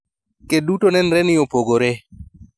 ked duto nenre ni opogore.